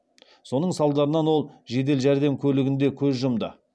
соның салдарынан ол жедел жәрдем көлігінде көз жұмды